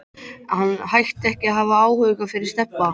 En hún hætti ekki að hafa áhuga fyrir Stebba.